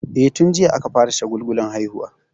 E, tun jiya aka fara shagulgulan haihuwa.